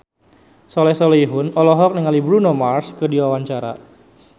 Soleh Solihun olohok ningali Bruno Mars keur diwawancara